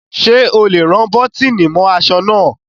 Sé ẹ lè rán bọ́tìnì mọ́ aṣọ náà?